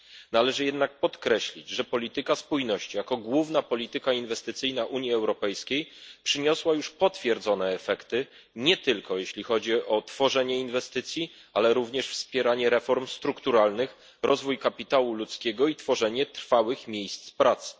Należy jednak podkreślić, że polityka spójności jako główna polityka inwestycyjna Unii Europejskiej przyniosła już potwierdzone efekty nie tylko, jeśli chodzi o tworzenie inwestycji, ale również wspieranie reform strukturalnych, rozwój kapitału ludzkiego i tworzenie trwałych miejsc pracy.